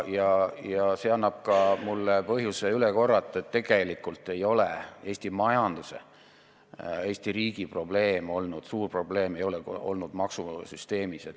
Ja see annab mulle põhjuse üle korrata, et Eesti majanduse, Eesti riigi suur probleem ei ole olnud maksuvabas süsteemis.